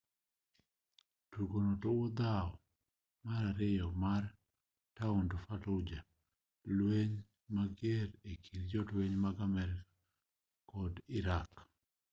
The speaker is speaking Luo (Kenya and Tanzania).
tugono luwo dhawo mar ariyo mar taond fallujah lueny mager ekind jolueny ma amerika kod iraqi